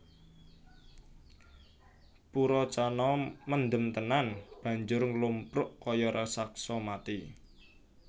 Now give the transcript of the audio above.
Purocana mendem tenan banjur nglumpruk kaya raseksa mati